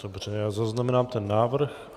Dobře, já zaznamenám ten návrh.